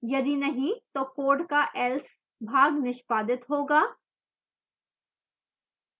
यदि नहीं तो code का else भाग निष्पादित होगा